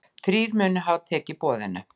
Þrír munu hafa tekið boðinu.